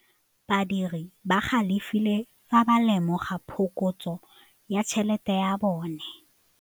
Badiri ba galefile fa ba lemoga phokotsô ya tšhelête ya bone.